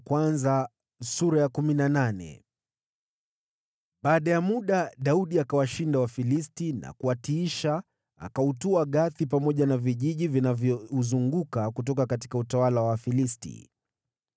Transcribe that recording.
Baada ya muda, Daudi akawashinda Wafilisti na kuwatiisha, naye akautwaa Gathi pamoja na vijiji vinavyouzunguka kutoka utawala wa Wafilisti.